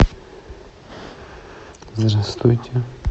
здравствуйте